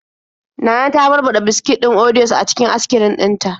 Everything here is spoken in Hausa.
Nana ta barbaɗa biskit din orios a cikin askrim din ta.